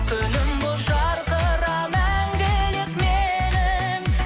күнім болып жарқыра мәңгілік менің